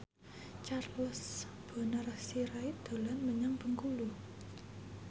Charles Bonar Sirait dolan menyang Bengkulu